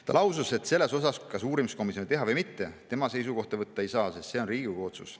Ta lausus, et selles suhtes, kas uurimiskomisjoni teha või mitte, tema seisukohta võtta ei saa, sest see on Riigikogu otsus.